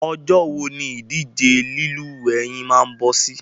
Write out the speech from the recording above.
Ọjọ́ wo ni ìdíje lílúwẹ̀ẹ́ yín máa bọ́ sí?